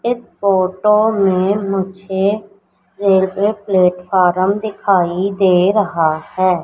इस फोटो में मुझे रेलवे प्लेटफार्म दिखाई दे रहा है।